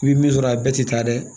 I bi min sɔrɔ a bɛɛ ti taa dɛ